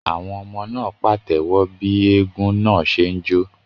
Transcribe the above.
Àwọn ọmọ náà pàtẹ́wọ́ bí eégún náà ṣe ń jó.